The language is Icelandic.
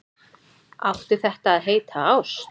Átti þetta að heita ást?